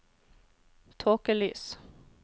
tåkelys